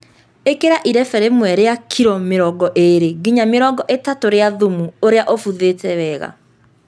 Ĩkĩra irebe rĩmwe rĩa kiro mĩrongo ĩrĩ nginya mĩrongo ĩtatũ rĩa thumu ũrĩa ũbuthĩte wega